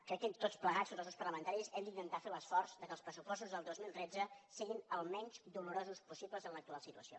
crec que tots plegats tots els grups parlamentaris hem d’intentar fer l’esforç que els pressupostos del dos mil tretze siguin el menys dolorosos possible en l’actual situació